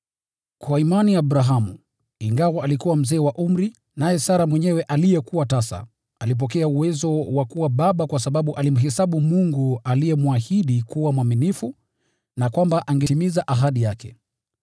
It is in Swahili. Kwa imani Abrahamu, ingawa alikuwa mzee wa umri, naye Sara mwenyewe aliyekuwa tasa, alipokea uwezo wa kuwa baba kwa sababu alimhesabu Mungu aliyemwahidi kuwa mwaminifu na kwamba angetimiza ahadi yake.